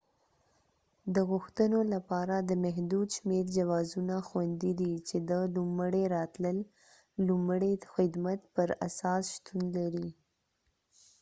د غوښتنو لپاره د محدود شمیر جوازونه خوندي دي چې د لومړی راغلل لومړی خدمت پر اساس شتون لري